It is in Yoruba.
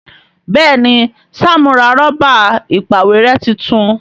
Béèni Sam ra Rọ́bà ìpàwérẹ́ títún.